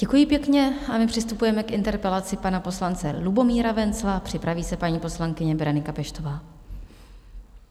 Děkuji pěkně a my přistupujeme k interpelaci pana poslance Lubomíra Wenzla, připraví se paní poslankyně Berenika Peštová.